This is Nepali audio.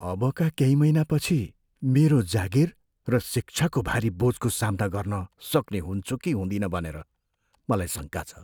अबका केही महिनापछि मेरो जागिर र शिक्षाको भारी बोझको सामना गर्न सक्ने हुन्छु कि हुँदिन भनेर मलाई शङका छ।